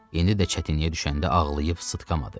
İndi də çətinliyə düşəndə ağlayıb sıtqamadı.